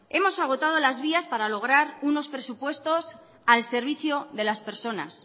hemos agotado las vías para lograr unos presupuestos al servicio de las personas